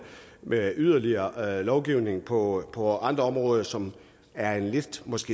med yderligere lovgivning på på andre områder som er i lidt